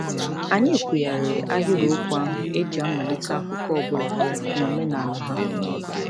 Anyị kwughariri ahịrịokwu ahụ e ji amalite akụkọ ọbụla n'omenala ha.